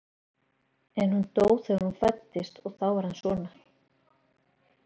En hún dó þegar þú fæddist og þá varð hann svona.